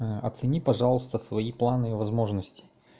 оцени пожалуйста свои планы и возможности